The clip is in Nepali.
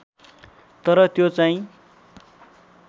तर त्यो चाहिँ